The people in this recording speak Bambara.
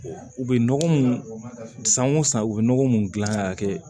U bɛ nɔgɔ mun san o san u bɛ nɔgɔ mun dilan ka kɛ